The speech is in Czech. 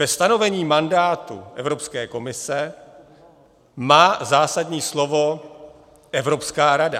Ve stanovení mandátu Evropské komise má zásadní slovo Evropská rada.